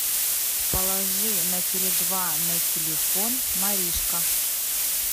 положи на теле два на телефон маришка